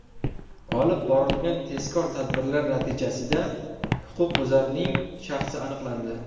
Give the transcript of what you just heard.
Olib borilgan tezkor tadbirlar natijasida huquqbuzarning shaxsi aniqlandi.